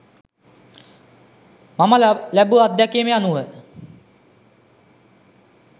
මම ලැබූ අත්දැකීම් අනුව